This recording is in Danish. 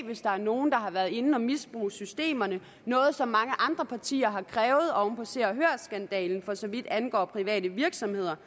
hvis der er nogen der har været inde og misbruge systemerne det noget som mange andre partier har krævet oven på se og hør skandalen for så vidt angår private virksomheder